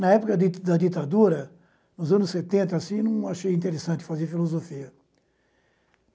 Na época di da ditadura, nos anos setenta, assim, não achei interessante fazer filosofia.